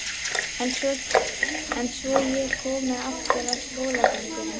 En svo ég komi aftur að skólagöngunni.